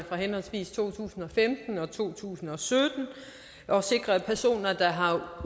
fra henholdsvis to tusind og femten og to tusind og sytten og sikrer at personer der har